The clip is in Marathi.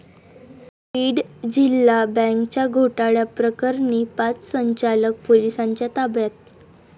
बीड जिल्हा बँकेच्या घोटाळ्याप्रकरणी पाच संचालक पोलिसांच्या ताब्यात